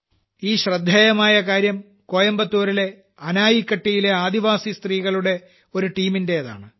ഈ ശ്രദ്ധേയമായ കാര്യം കോയമ്പത്തൂരിലെ അണൈക്കട്ടിയിലെ ആദിവാസി സ്ത്രീകളുടെ ഒരു ടീമിന്റേതാണ്